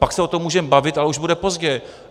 Pak se o tom můžeme bavit, ale už bude pozdě!